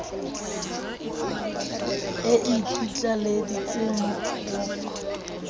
e ikitlaleditse ho o fa